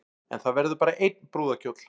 En það verður bara einn brúðarkjóll